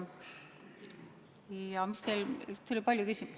Aga teil oli veelgi küsimusi.